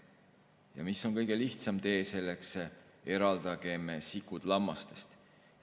Ja mis on kõige lihtsam tee selleks: eraldagem sikud lammastest.